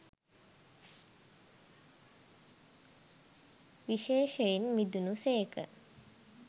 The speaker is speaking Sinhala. විශේෂයෙන් මිදුණු සේක.